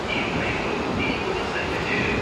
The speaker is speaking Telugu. ఈ రైల్లో టీ కూడా సరిగ్గా చేయలేరు!